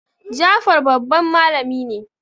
Jafar babban malamin ne